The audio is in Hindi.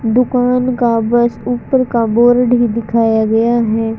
दुकान का बस ऊपर का बोर्ड दिखाया गया है।